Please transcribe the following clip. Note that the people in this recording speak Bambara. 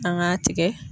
An k'a tigɛ